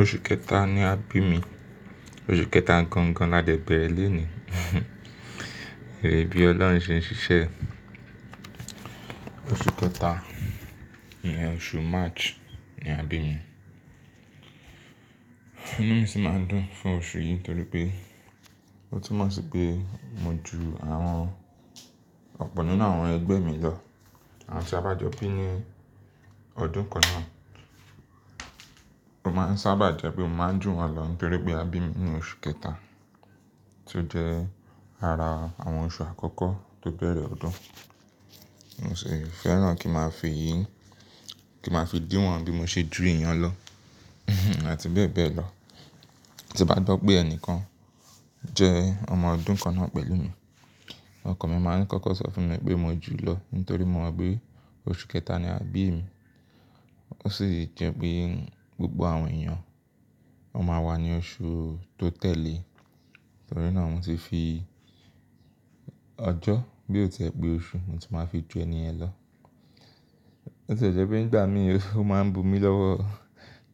Oṣù kẹta ni a bí mi, oṣù kẹta gangan ládẹ̀ bẹ̀rẹ̀ léèni. Ẹ̀ri bí Ọlọ́run ṣe ń ṣiṣẹ́ ẹ? Oṣù kẹta, ìyẹn oṣù March ni a bí mi. Inú mi sì máa ń dùn fún oṣù yìí nítorí pé ó tún mọ̀ sí pé mo ju àwọn ọ̀pọ̀ nínú àwọn ẹgbẹ́ mi lọ, àwọn tí a bá jọ bí ní ọdún kan náà. Ó máa ń sábà jẹ́ pé mo máa ń jù wọ́n lọ nítorí pé a bí mi ní oṣù kẹta tí ó jẹ́ ara àwọn oṣù àkọ́kọ́ tó bẹ̀rẹ̀ ọdún. N o sì fẹ́ràn kí máa fi èyí, kí máa fi díwọ́n bí mo ṣe ju èèyàn lọ àti bẹ́ẹ̀ bẹ́ẹ̀ lọ. Tí n bá gbọ́ pé ẹni kan jẹ́ ọmọ ọdún kan náà pẹ̀lú mi, ọ́kán mi máa ń kọ́kọ́ sọ fún mi pé mo jù ụ́ lọ nítorí mo mọ̀ pé oṣù kẹta ni a bí mi. Ó sì jẹ́ pé gbogbo àwọn èèyàn ó máa wà ní oṣù tó tẹ̀le torí náà mo ti fi ọjọ́ bí ó ti ẹ pe oṣù, mó ti máa fi ju ẹ̀nì yẹn lọ. Bi ó ti jẹ́ pé nígbà mìíràn ó máa ń bu mí lọ́wọ́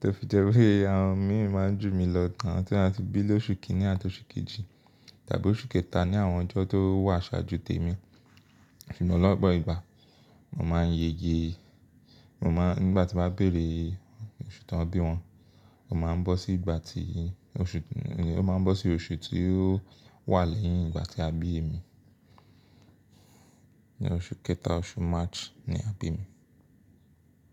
tó fi jẹ́ wí pe àwọn mìíràn máa ń jù mí lọ tán tí wọ́n á ti bí lóṣù kìíní àti oṣù kejì tàbí oṣù kẹta ni àwọn ọjọ́ tó wà ṣáájú tèmi. Ṣùgbọ́n lọpọ ìgbà mo máa ń ye ge, mo máa nígbà tí mo bá béèrè oṣù tán bí wọ́n, ó máa ń bọ́ sí ìgbà tí oṣù, ní ó máa ń bọ́ sí oṣù tí ó wà lẹ́yìn ìgbà tí a bí mi. Ni oṣù kẹta, oṣù March ni a bí mi.